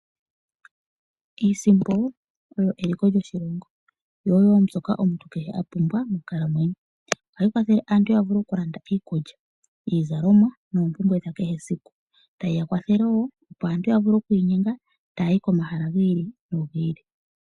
Iisimpo oyo eliko lyo shilongo, yo oyo mbyoka omuntu kehe a pumbwa monkalamwenyo. Ohayi kwathelele aantu ya vule oku landa iikulya, iizalomwa, noompumbwe dha kehe esiku, ta yiya kwathele wo opo aantu ya vule oku inyenga taya yi komahala gi ili nogi ili.